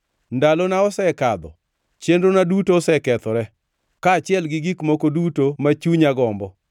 Ndalona osekadho, chenrona duto osekethore, kaachiel gi gik moko duto ma chunya gombo.